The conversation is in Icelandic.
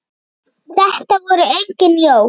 Þetta voru engin jól.